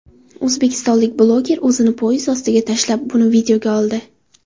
O‘zbekistonlik bloger o‘zini poyezd ostiga tashlab, buni videoga oldi .